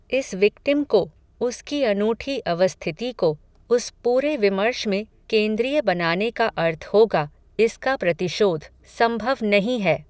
इस विक्टिम को, उसकी अनूठी अवस्थिति को, उस पूरे विमर्श में, केन्द्रीय बनाने का अर्थ होगा, इसका प्रतिशोध, संभव नहीं है